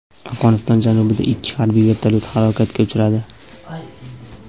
Afg‘oniston janubida ikki harbiy vertolyot halokatga uchradi.